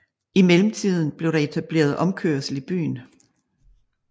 I mellemtiden blev der etableret omkørsel i byen